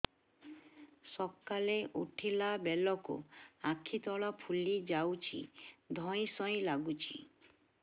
ସକାଳେ ଉଠିଲା ବେଳକୁ ଆଖି ତଳ ଫୁଲି ଯାଉଛି ଧଇଁ ସଇଁ ଲାଗୁଚି